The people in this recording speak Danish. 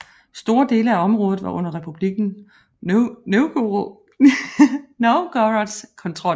Store dele af området var under Republikken Novgorods kontrol